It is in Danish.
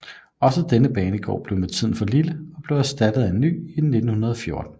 Også denne banegård blev med tiden for lille og blev erstattet af en ny i 1914